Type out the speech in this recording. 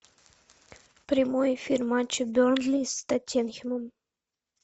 прямой эфир матча бернли с тоттенхэмом